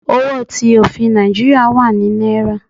Owo ti ofin Naijiria wa ni Naira